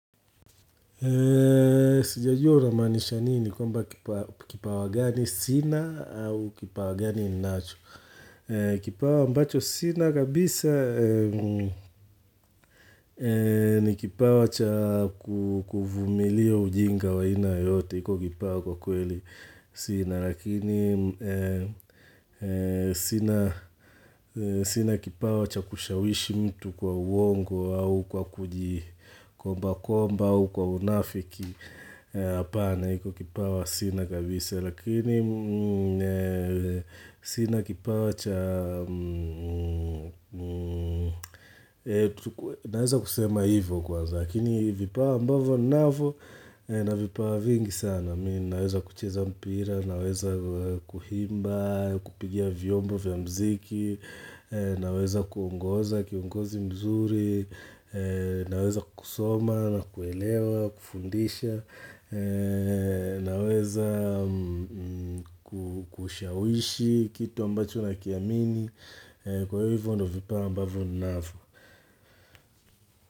Sijajua unamaaanisha nini kwamba kipa kipawa gani sina au kipawa gani ninacho Kipawa ambacho sina kabisa ni kipawa cha kuu kuvumilia ujinga wa aina yoyote iko kipawa kwa kweli sina, lakini sina kipawa cha kushawishi mtu kwa uongo au kwa kuji komba komba au kwa unafiki hapana iko kipawa sina kabisa lakini sina kipawa cha naweza kusema hivo kwanza lakini vipawa ambavo ninavo nina vipawa vingi sana mimi naweza kucheza mpira naweza kuimba kupigia vyombo vya mziki naweza kuungoza kiongozi mzuri naweza kusoma na kuelewa, kufundisha, naweza kushawishi Kitu ambacho nakiamini Kwa hivyo ndio vipawa ambavyo ninavyo.